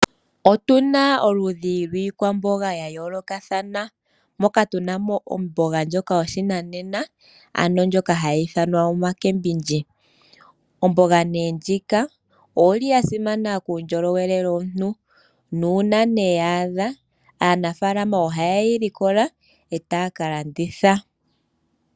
Otuna oludhi lwiikwamboga ya yoolokathana moka tunamo omboga ndjoka yo pashinanena ano ndjoka hayi ithanwa omacabbage . Omboga ndjika oyili yasimana kuundjolowele womuntu nuuna nee ya adha aanafaalama oha yeyi likola etaya kalanditha.